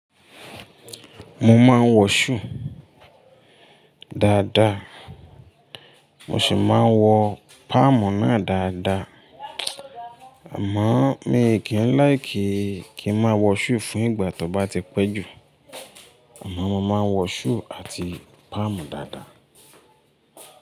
Mo máa ń wọ shoe dáadáa, mo sì máa ń wọ palm náà dáadáa. Àmọ́ mi kì í láì kíi kí n máa wọ shoe fún ìgbà tó bá ti pẹ́ jù. Àmọ́ mo máa ń wọ shoe àti palm dáadáa.